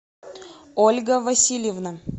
ольга васильевна